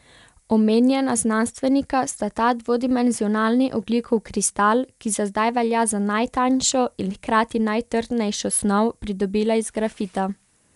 Omenjena znanstvenika sta ta dvodimenzionalni ogljikov kristal, ki za zdaj velja za najtanjšo in hkrati najtrdnejšo snov, pridobila iz grafita.